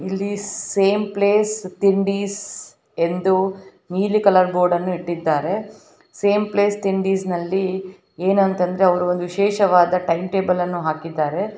ಇಲ್ಲಿ same place ತಿಂಡಿಸ್ ಎಂದು ನೀಲಿ ಕಲರ್ ಬೋರ್ಡ್ ಅನ್ನು ಇಟ್ಟಿದ್ದಾರೆ. ಸೇಮ್ ಪ್ಲೇಸ್ ತಿಂಡಿಸ್ ನಲ್ಲಿ ಏನು ಅಂತ ಅಂದರೆ ಅವರು ಒಂದು ವಿಶೇಷವಾದ ಟೈಮ್ ಟೇಬಲ್ ಅನ್ನ ಹಾಕಿದ್ದಾರೆ.